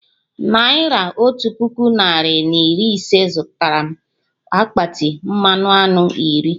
Naira otu puku narị na iri ise zụtara mụ akpati mmanụ aṅụ iri